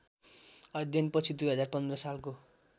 अध्ययनपछि २०१५ सालको